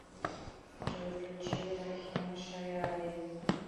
джой включи рахим шариари